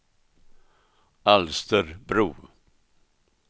Alsterbro